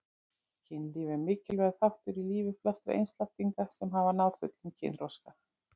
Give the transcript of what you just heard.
Kynlíf er mikilvægur þáttur í lífi flestra einstaklinga sem náð hafa fullum kynþroska.